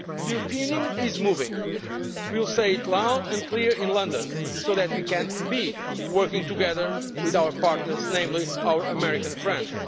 The European Union is moving we will say it loud and clear in London so that we can work together with our partners, namely our American friends.